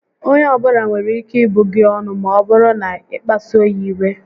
Onye ọbula nwere ike ịbụ gị ọnụ maọbụrụ na ị kpasuo ya iwe